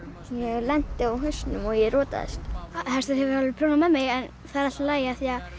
lenti á hausnum og rotaðist hestur hefur alveg prjónað með mig en það er allt í lagi